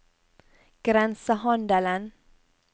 grensehandelen